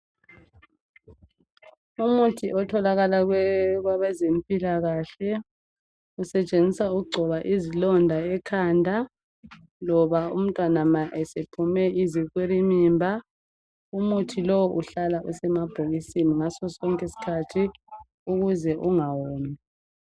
Umuthi otholakala kwabe zempilakahle usetshenziswa ukugcoba izilonda ekhanda, loba umntwana ma esephume izikwilimimba Umuthi lo uhlala usemabhokisini sonke isikhathi ukuze ungawomi.